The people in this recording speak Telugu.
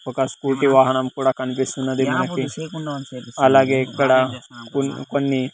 ఒక స్కూటీ వాహనము కూడ కనిపిస్తున్నది మనకి అలాగే ఇక్కడ కూన్-- కొన్ని.